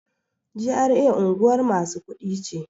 GRA unguwar masu kuɗi ce.